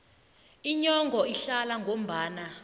inyongo ihlaza ngombala